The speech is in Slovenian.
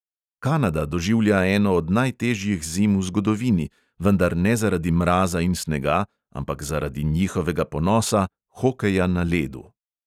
Kanada doživlja eno od najtežjih zim v zgodovini, vendar ne zaradi mraza in snega, ampak zaradi njihovega ponosa – hokeja na ledu.